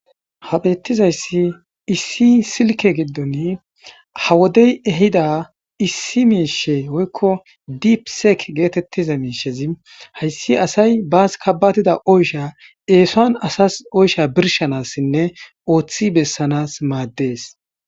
habeettizayssi issi silke giddon ha wodey ehida issi miishe woykko diipseek geetettiza miishezi hayssi asay baas kabatida oysha eesoan asas oysha birshanassinne ooththi bessanas maaddees